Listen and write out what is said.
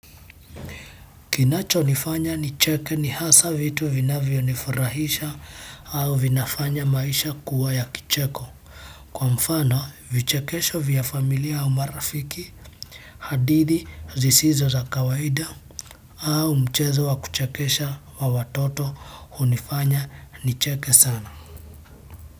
Kinachonifanya nicheke ni hasa vitu vinavyonifurahisha au vinafanya maisha kuwa ya kicheko. Kwa mfano, vichekesho vya familia au marafiki, hadithi zisizo za kawaida au mchezo wa kuchekesha wa watoto hunifanya nicheke sana.